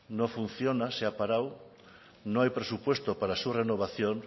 no funciona se ha parado no hay presupuesto para su renovación